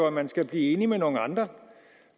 at man skal blive enig med nogle andre